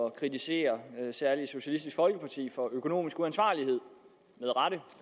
at kritisere særlig socialistisk folkeparti for økonomisk uansvarlighed